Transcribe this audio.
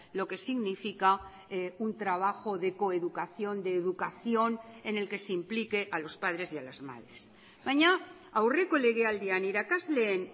lo que significa un trabajo de coeducación de educación en el que se implique a los padres y a las madres baina aurreko legealdian irakasleen